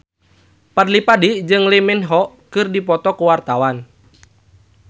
Fadly Padi jeung Lee Min Ho keur dipoto ku wartawan